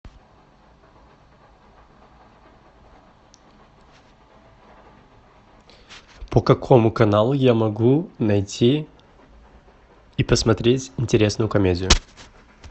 по какому каналу я могу найти и посмотреть интересную комедию